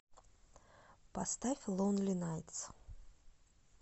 поставь лонли найтс